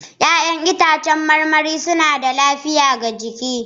Ya'yan itãcen marmari suna da lafiya ga jiki.